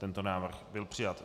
Tento návrh byl přijat.